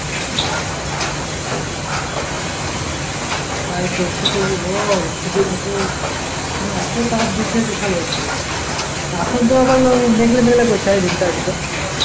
তাই তো কী করবি বল খুবিরা তো মানে এতো তাপ দিচ্ছে বিশাল ব্যাপার তার পর তো মেঘলা মেঘলা করছে সারা দিন টা আজকে